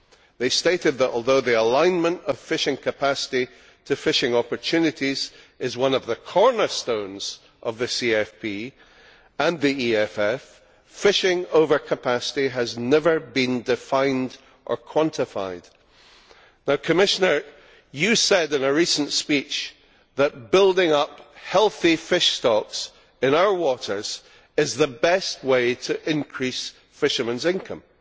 They stated that, although the alignment of fishing capacity to fishing opportunities is one of the cornerstones of the CFP and the EFF, fishing overcapacity has never been defined or quantified. The Commissioner said in a recent speech that building up healthy fish stocks in our waters is the best way to increase fishermen's incomes.